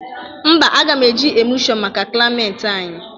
Mba, aga m eji emụlshọn maka klịameti anyị.